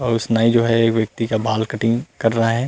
और उस नाई जो है उस व्यक्ति का बाल कटिंग कर रहा है।